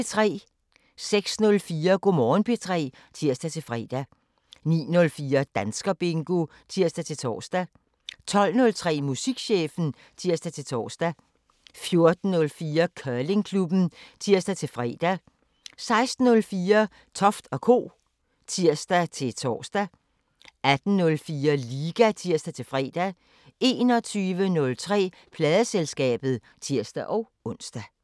06:04: Go' Morgen P3 (tir-fre) 09:04: Danskerbingo (tir-tor) 12:03: Musikchefen (tir-tor) 14:04: Curlingklubben (tir-fre) 16:04: Toft & Co. (tir-tor) 18:04: Liga (tir-fre) 21:03: Pladeselskabet (tir-ons)